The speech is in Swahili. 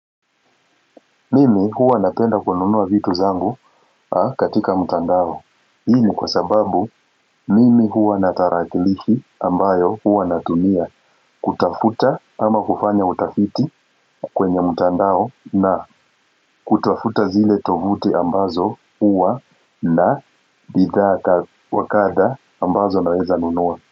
Mimi huwa napenda kununua vitu zangu katika mtandao Hii ni kwa sababu mimi huwa natarakilishi ambayo huwa natumia kutafuta ama kufanya utafiti kwenye mtandao na kutafuta zile tovuti ambazo huwa na bidhaa wakadha ambazo naweza nunua.